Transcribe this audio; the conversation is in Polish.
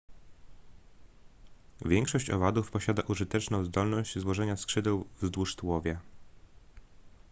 większość owadów posiada użyteczną zdolność złożenia skrzydeł wzdłuż tułowia